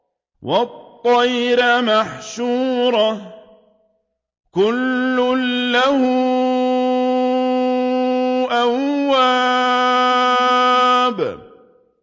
وَالطَّيْرَ مَحْشُورَةً ۖ كُلٌّ لَّهُ أَوَّابٌ